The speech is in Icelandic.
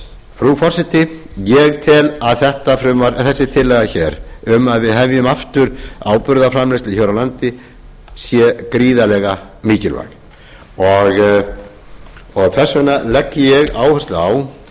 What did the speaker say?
frú forseti ég tel að þessi tillaga um að við hefjum aftur áburðarframleiðslu hér á landi sé gríðarlega mikilvæg þess vegna legg ég áherslu á